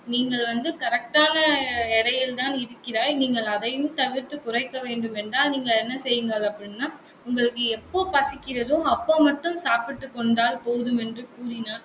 நீங்கள் வந்து correct ஆன எடையில்தான் இருக்கிறாய். நீங்கள் அதையும் தவிர்த்து குறைக்க வேண்டும் என்றால் நீங்கள் என்ன செய்யுங்கள் அப்படின்னா உங்களுக்கு எப்போ பசிக்கிறதோ, அப்போ மட்டும் சாப்பிட்டுக் கொண்டால் போதும் என்று கூறினார்.